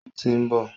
Ó tí ń bọ̀.